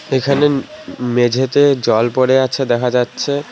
এখানে মে মেঝেতে জল পড়ে আছে দেখা যাচ্ছে।